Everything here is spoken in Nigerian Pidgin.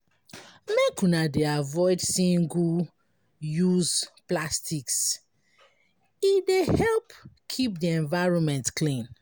Make una dey avoid single-use plastics, e dey help keep di environment clean.